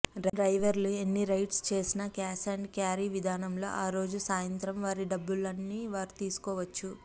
డ్రైవర్లు ఎన్ని రైడ్స్ చేసినా క్యాష్ అండ్ క్యారీ విధానంలో ఆ రోజు సాయంత్రం వారి డబ్బుల్ని వారు తీసుకోవచ్చు